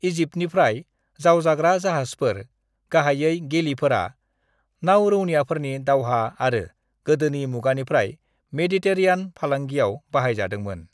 "इजिप्टनिफ्राय, जावजाग्रा जाहाजफोर, गाहायै गेलीफोरा, नावरौनियाफोरनि दावहा आरो गोदोनि मुगानिफ्राय मेडिटेरेनीआन फालांगियाव बाहायजादोंमोन।"